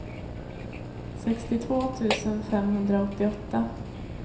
sextiotvå tusen femhundraåttioåtta